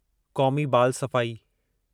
क़ौमी बाल सफ़ाई